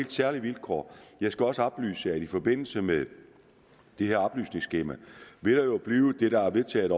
særlige vilkår jeg skal også oplyse at i forbindelse med det her oplysningsskema vil der jo blive det der er vedtaget